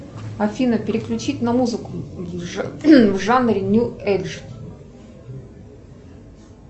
афина переключить на музыку в жанре нью эйдж